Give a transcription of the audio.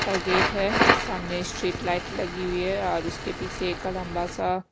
gate है सामने street light लगी हुई हैऔर उसके पीछे एक लंबा सा--